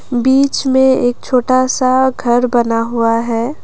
बीच में एक छोटा सा घर बना हुआ है।